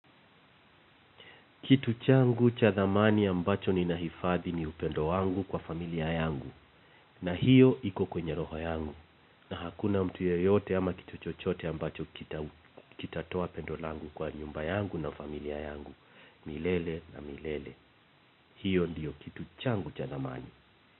Kitu changu cha thamani ambacho ninahifadhi ni upendo wangu kwa familia yangu na hiyo iko kwenye roho yangu na hakuna mtu yeyote ama kitu chochote ambacho kita kitatoa pendo langu kwa nyumba yangu na familia yangu, milele na milele. Hiyo ndio kitu changu cha thamani.